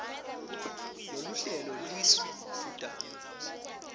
loluhlelo lisu dvutane